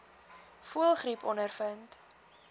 voëlgriep ondervind